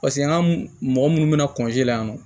Paseke an ka mɔgɔ munnu be na la yan nɔ